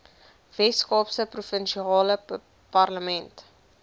weskaapse provinsiale parlement